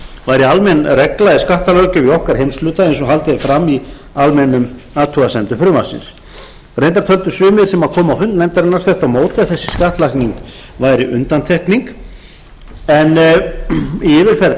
væri almenn regla í skattalöggjöf í okkar heimshluta eins og haldið er fram í almennum athugasemdum frumvarpsins reyndar töldu sumir þvert á móti að þessi skattlagning væri undantekning en í yfirferð